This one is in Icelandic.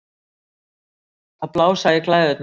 Að blása í glæðurnar